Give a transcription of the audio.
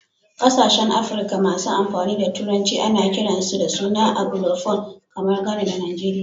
Kasashen Afrika masu amfani da Turanci ana kiransu da suna "Anglophone". Kamar Ghana da Nigeria.